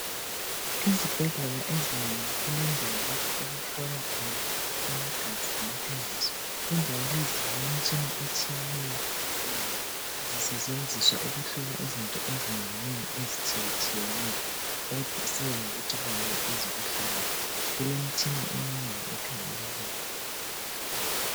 Ezibhendlela ezinengi kulendawo lapho okuhlolwa khona amagazi lemthambiso indawo lezi zilemtshina etshiyeneyo ngoba sitshenziswa ukuhlola izinto ezinenginengi ezitshiyetshineyo kusiya ngokuthi kuyini ezikuhlolayo kulemtshina eminengi ekhangela lokhu.